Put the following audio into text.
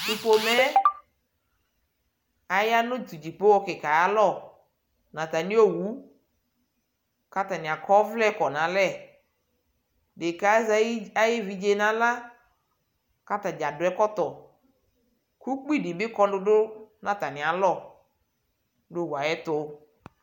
tʋ pɔmɛ ayanʋ dzipɔha kikaaɛ ayialɔ nʋ atani ɔwʋ ,kʋ atani akɔ ʋvlɛ kɔnʋ alɛ, ɛdɛkaɛ azɛ ayi ɛvidzɛ nʋ ala kʋ atagya adʋ ɛkɔtɔ kʋ ʋkpi dibi kɔlʋdʋ nʋ atami alɔ nʋ ɔwʋɛ ayɛtʋ